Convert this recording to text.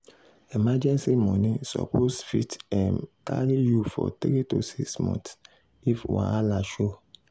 emergency money suppose fit um carry you for 3 to 6 months if wahala show.